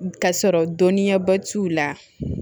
Ka sɔrɔ dɔnniyaba t'u la